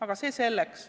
Aga see selleks.